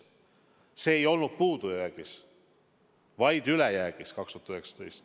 See ei olnud puudujäägis, vaid ülejäägis.